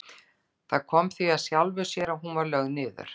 Það kom því af sjálfu sér að hún var lögð niður.